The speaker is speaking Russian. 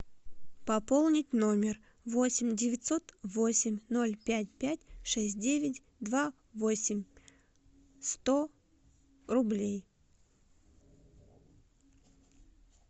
пополнить номер восемь девятьсот восемь ноль пять пять шесть девять два восемь сто рублей